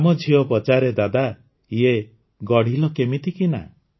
ଆମ ଝିଅ ପଚାରେ ଦାଦା ଇଏ ଗଢ଼ିଲ କେମିତିକିନା